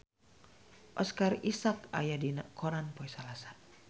Oscar Isaac aya dina koran poe Salasa